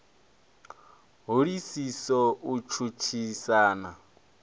ho isiso u tshutshisa na